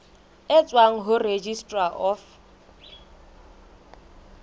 e tswang ho registrar of